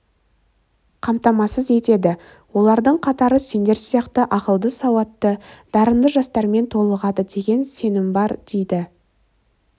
қамтамасыз етеді олардың қатары сендер сияқты ақылды сауатты дарынды жастармен толығады деген сенім бар дейді